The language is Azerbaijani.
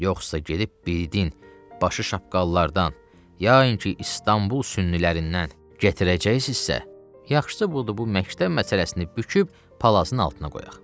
Yoxsa gedib bildin, başı şapkalılardan, ya ki, İstanbul sünnilərindən gətirəcəksinizsə, yaxşısı budur, bu məktəb məsələsini büküb palazın altına qoyaq.